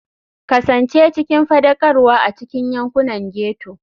Kasance cikin faɗakarwa a cikin yankunan ghetto.